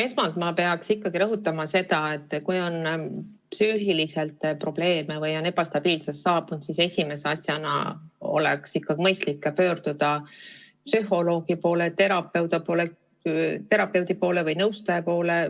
Esmalt ma pean rõhutama seda, et kui on tekkinud psüühilisi probleeme või saabunud ebastabiilsus, siis esimese asjana on mõistlik pöörduda ikkagi psühholoogi, terapeudi või nõustaja poole.